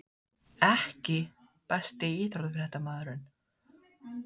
EKKI besti íþróttafréttamaðurinn?